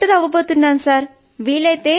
నేను డాక్టర్ అవుతాను సర్